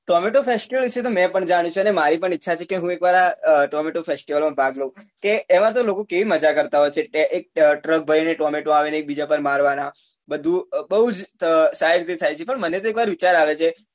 Tomato festival વિશે તો મેં પણ જાણ્યું છે ને મારી પણ ઈચ્છા છે કે હું એક વાર આ tomato festival માં ભાગ લઉં કે એમાં તો લોકો કેવી મજા કરતા હોય છે કે એક truck ભરી ને tomato આવે ને એક બીજા પર મારવા ના બધું બઉ જ